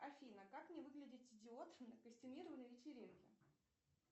афина как не выглядеть идиотом на костюмированной вечеринке